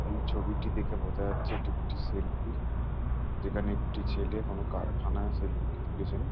এই ছবিটি দেখে বোঝা যাচ্ছে এটি একটি সেলফি । যেখানে একটি ছেলে কোনো কারখানায় সেলফি টি তুলেছেন।